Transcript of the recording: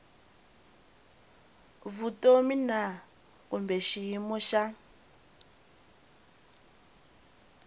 vutomi na kumbe xiyimo xa